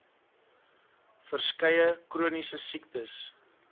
verskeie chroniese siektes